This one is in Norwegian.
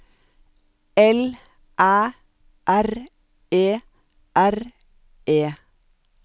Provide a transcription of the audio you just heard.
L Æ R E R E